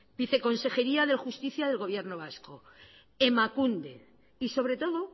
viceconsejería de justicia del gobierno vasco emakunde y sobre todo